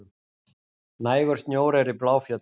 Nægur snjór er í Bláfjöllum